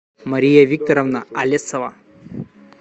мария викторовна алесова